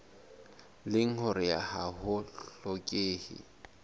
leng hore ha ho hlokehe